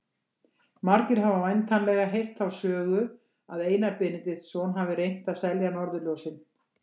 Margir hafa væntanlega heyrt þá sögu að Einar Benediktsson hafi reynt að selja norðurljósin.